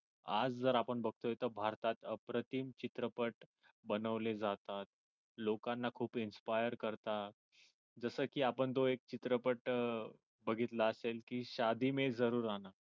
आज जर आपण बघतोय तर भारतात अप्रतिम चित्रपट बनवले जातात. लोकांना खूप inspire करतात जस कि आपण तो एक चित्रपट अह बघितला असेल कि